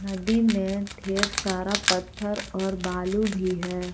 नदी में ढेर सारा पत्थर और बालू भी है।